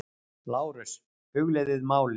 LÁRUS: Hugleiðið málið!